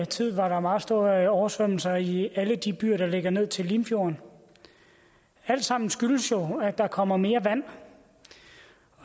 tid var der meget store oversvømmelser i alle de byer der ligger ned til limfjorden og alt sammen skyldes det jo at der kommer mere vand